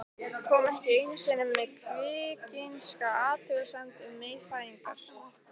Kom ekki einu sinni með kvikinska athugasemd um meyfæðingar.